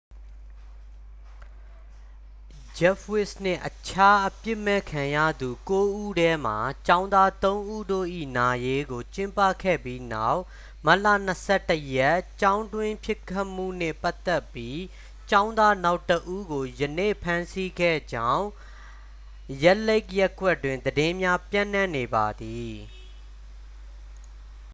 ဂျက်ဖ်ဝိစ်နှင့် အခြားအပြစ်မဲ့ခံရသူ ကိုးဉီးထဲမှ ကျောင်းသားသုံးဉီးတို့၏ နာရေးကို ကျင်းပခဲ့ပြီးနောက် မတ်လ 21 ရက် ကျောင်းတွင်းပစ်ခတ်မှုနှင့် ပတ်သက်ပြီး ကျောင်းသားနောက်တစ်ဦးကို ယနေ့ ဖမ်းဆီးခဲ့ကြေင်း ရက်ဒ်လိတ်ခ် ရပ်ကွက်တွင် သတင်းများ ပျံ့နှံ့နေပါသည်